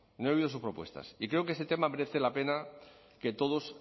no he oído sus propuestas y creo que este tema merece la pena que todos